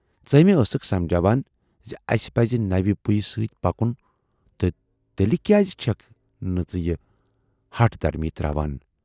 ژٕ ے مےٚ ٲسٕکھ سمجاوان زِ اسہِ پزِ نَوِ پُیہِ سۭتۍ پکُن تہٕ تیلہِ کیازِ چھَکھ نہٕ ژٕ یہِ ہَٹھ دھرمی تراوان۔